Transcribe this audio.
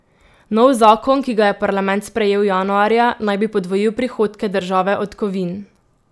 Nov zakon, ki ga je parlament sprejel januarja, naj bi podvojil prihodke države od kovin.